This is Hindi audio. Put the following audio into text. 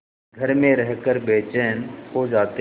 घर में रहकर बेचैन हो जाते हैं